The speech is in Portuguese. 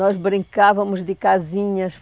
Nós brincávamos de casinhas.